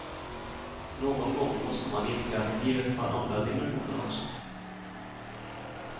Någon gång måste man inse att livet har andra dimensioner också.